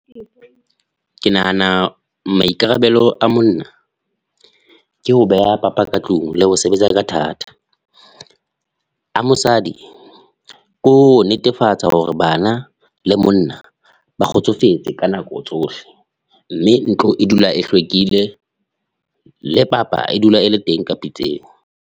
Ke nahana maikarabelo a monna ke ho beha papa ka tlung le ho sebetsa ka thata, a mosadi ke ho netefatsa hore bana le monna ba kgotsofetse ka nako tsohle mme ntlo e dula e hlwekile le papa e dula ele teng ka pitseng.